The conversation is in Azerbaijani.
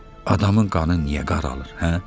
Adamın qanı niyə qaralır, hə?